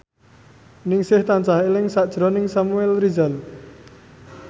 Ningsih tansah eling sakjroning Samuel Rizal